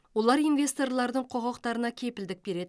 олар инвесторлардың құқықтарына кепілдік береді